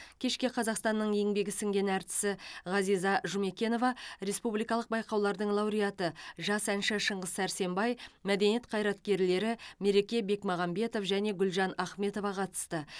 кешке қазақстанның еңбегі сіңген әртісі ғазиза жұмекенова республикалық байқаулардың лауреаты жас әнші шыңғыс сәрсенбай мәдениет қайраткерлері мереке бекмағамбетов және гүлжан ахметова қатысты